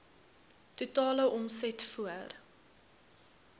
totale omset voor